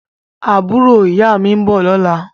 Àbúrò ìyá mi ń bọ̀ lọ́la